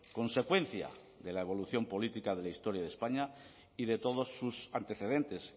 consecuencia de la evolución política de la historia de españa y de todos sus antecedentes